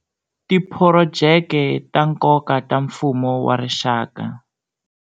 Tiphurojeke ta nkoka ta mfumo wa rixaka.